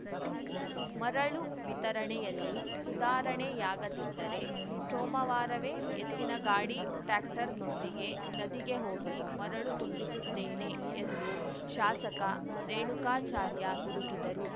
ಮರಳು ವಿತರಣೆಯಲ್ಲಿ ಸುಧಾರಣೆಯಾಗದಿದ್ದರೆ ಸೋಮವಾರವೇ ಎತ್ತಿನಗಾಡಿಟ್ಯಾಕ್ಟರನೊಂದಿಗೆ ನದಿಗೆ ಹೋಗಿ ಮರಳು ತುಂಬಿಸುತ್ತೇನೆ ಎಂದು ಶಾಸಕ ರೇಣುಕಾಚಾರ್ಯ ಗುಡುಗಿದರು